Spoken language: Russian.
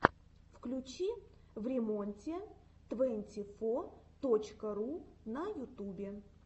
включи времонте твэнти фо точка ру на ютубе